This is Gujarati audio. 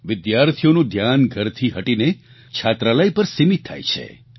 વિદ્યાર્થીઓનું ધ્યાન ઘરથી હટીને છાત્રાલય પર સીમિત થાય છે